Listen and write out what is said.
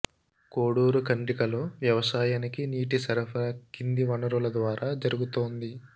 కోడూరు ఖండ్రికలో వ్యవసాయానికి నీటి సరఫరా కింది వనరుల ద్వారా జరుగుతోంది